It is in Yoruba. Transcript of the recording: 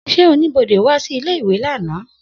Se onibode wa si ile-iwe lana?